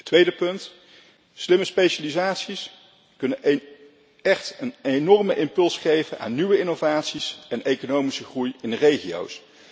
Tweede punt slimme specialisaties kunnen echt een enorme impuls geven aan nieuwe innovaties en economische groei in de regio's.